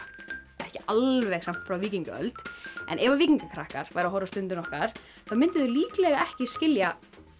ekki alveg samt frá víkingaöld en ef víkingakrakkar væru að horfa á Stundina okkar þá myndu þau líklega ekki skilja